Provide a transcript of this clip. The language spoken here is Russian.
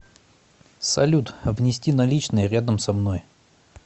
салют внести наличные рядом со мной